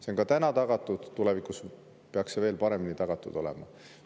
See on täna tagatud ja tulevikus peaks see veel paremini tagatud olema.